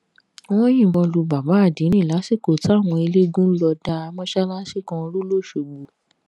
wọn yìnbọn lu bàbá àdínnì lásìkò táwọn eléégún lọ da mọ́sálásí kan rú lóṣogbo